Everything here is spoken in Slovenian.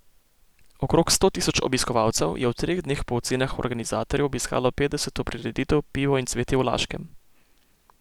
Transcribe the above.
Okrog sto tisoč obiskovalcev je v treh dneh po ocenah organizatorjev obiskalo petdeseto prireditev Pivo in cvetje v Laškem.